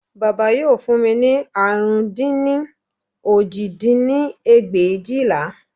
Bàbá yóò fún mi ní àrún dín ní òjì dín ní ẹgbẹ̀éjìlá